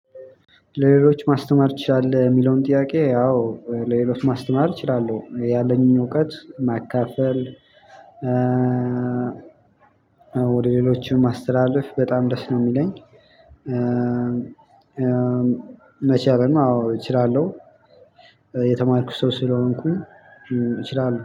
ለሌሎች ማስተማር ትችላለህ ሚለውን ጥያቄ? አዎ ለሌሎች ማስተማር እችላለሁ ያለኝን እውቀት ማካፈል ወደ ሌሎችም ማስተላለፍ በጣም ደስ ነው ሚለኝ። መቻልም አዎ እችላለሁ። የተማርኩ ሰው ስለሆንኩኝ እችላለሁ